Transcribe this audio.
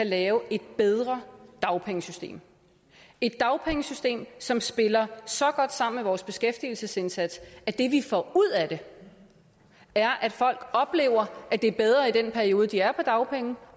lave et bedre dagpengesystem et dagpengesystem som spiller så godt sammen med vores beskæftigelsesindsats at det vi får ud af det er at folk oplever at det er bedre i den periode de er på dagpenge